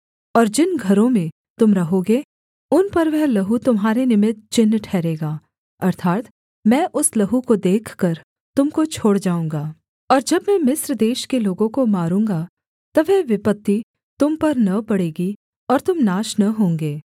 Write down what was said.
और जिन घरों में तुम रहोगे उन पर वह लहू तुम्हारे निमित्त चिन्ह ठहरेगा अर्थात् मैं उस लहू को देखकर तुम को छोड़ जाऊँगा और जब मैं मिस्र देश के लोगों को मारूँगा तब वह विपत्ति तुम पर न पड़ेगी और तुम नाश न होंगे